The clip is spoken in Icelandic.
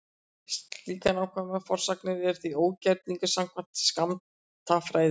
Slíkar nákvæmar forsagnir eru því ógerningur samkvæmt skammtafræðinni.